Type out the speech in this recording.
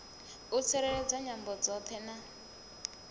u tsireledza nyambo dzoṱhe na